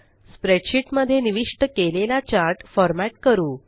spreadsheet मध्ये निविष्ट केलेला चार्ट फ़ॉर्मेट करू